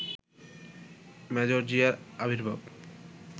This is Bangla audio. মেজর জিয়ার আবির্ভাব